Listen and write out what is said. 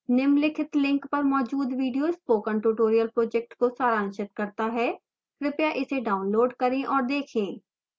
निम्नलिखित link पर मौजूद video spoken tutorial project को सारांशित करता है कृपया इसे डाउनलोड करें और देखें